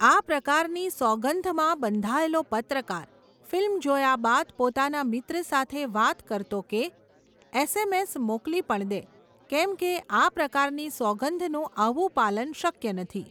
આ પ્રકારની સોગંધમાં બંધાયેલો પત્રકાર, ફિલ્મ જોયા બાદ પોતાના મિત્ર સાથે વાત કરતો કે, એસએમએસ મોકલી પણ દે, કેમ કે આ પ્રકારની સોગંધ નું આવું પાલન શક્ય નથી.